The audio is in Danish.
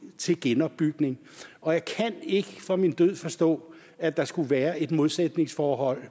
til genopbygning og jeg kan ikke for min død forstå at der skulle være et modsætningsforhold